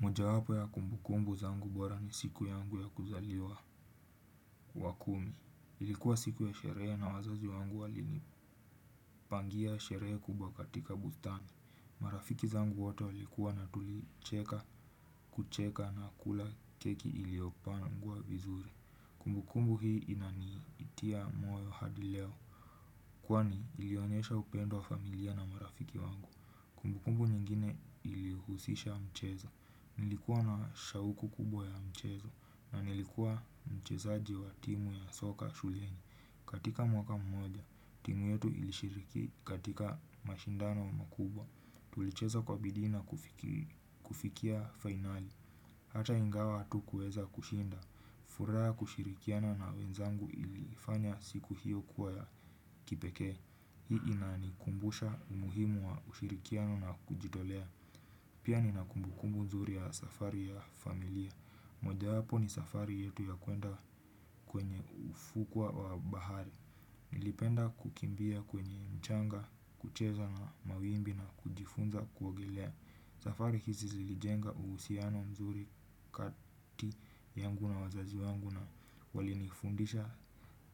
Moja wapo ya kumbukumbu zangu bora ni siku yangu ya kuzaliwa wa kumi. Ilikuwa siku ya sherehe na wazazi wangu walini pangia sherehe kubwa katika bustani. Marafiki zangu wote walikuwa na tulicheka, kucheka na kula keki iliopangwa vizuri. Kumbukumbu hii inanitia moyo hadi leo. Kwani ilionyesha upendo wa familia na marafiki wangu. Kumbukumbu nyingine ilihusisha mchezo. Nilikuwa na shauku kubwa ya mchezo na nilikuwa mchezaji wa timu ya soka shuleni. Katika mwaka mmoja, timu yetu ilishiriki katika mashindano wa makubwa. Tulichezo kwa bidii na kufikia finali. Hata ingawa hatukueza kushinda. Furaha ya kushirikiana na wenzangu ilifanya siku hiyo kuwa ya kipeke. Hii inanikumbusha umuhimu wa ushirikiano na kujitolea. Pia ninakumbukumbu mzuri ya safari ya familia. Moja wapo ni safari yetu ya kuenda kwenye ufukwa wa bahari. Nilipenda kukimbia kwenye mchanga, kucheza na mawimbi na kujifunza kuogelea. Safari hizi zilijenga uhusiano mzuri kati yangu na wazazi wangu na walinifundisha